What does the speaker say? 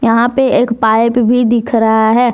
यहां पे एक पाइप भी दिख रहा है।